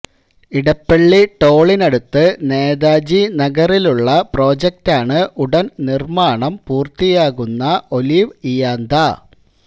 ഇടപ്പള്ളി ടോളിനടുത്ത് നേതാജി നഗറിലുള്ള പ്രോജക്ടാണ് ഉടന് നിര്മാണം പൂര്ത്തിയാകുന്ന ഒലിവ് ഇയാന്ത